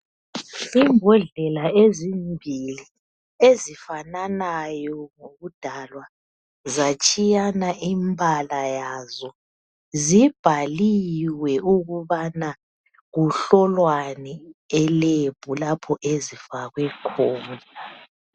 Imbodlela ezimbili ezifananayo ngokudalwa zatshiyana imibala yazo zibhaliwe ukubana kuhlolwani elembu lapho ezifakwe khona.